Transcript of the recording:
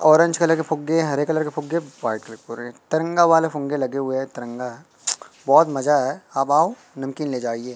Orange colour के फुग्गे हरे कलर के फुग्गे तिरंगा वाले फूंगे लगे हुए है तिरंगा बहुत मजा आया है आप आओ नमकीन ले जाइए।